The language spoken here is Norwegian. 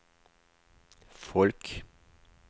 folk